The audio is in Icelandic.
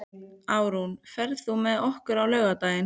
Árún, ferð þú með okkur á laugardaginn?